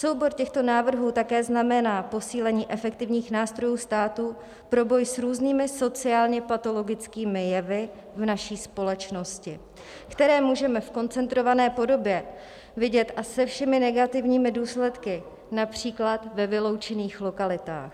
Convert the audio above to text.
Soubor těchto návrhů také znamená posílení efektivních nástrojů státu pro boj s různými sociálně patologickými jevy v naší společnosti, které můžeme v koncentrované podobě vidět, a se všemi negativními důsledky, například ve vyloučených lokalitách.